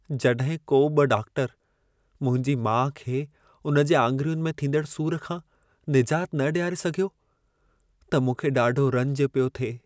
जॾहिं को बि डॉकटर मुंहिंजी माउ खे उन जे आङिरियुनि में थींदड़ सूर खां निजात न ॾियारे सघियो, त मूंखे ॾाढो रंज पियो थिए।